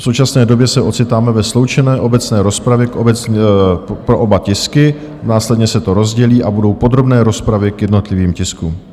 V současné době se ocitáme ve sloučené obecné rozpravě pro oba tisky, následně se to rozdělí a budou podrobné rozpravy k jednotlivým tiskům.